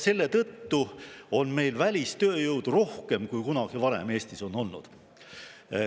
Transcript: Selle tõttu on meil välistööjõudu rohkem, kui Eestis on kunagi varem olnud.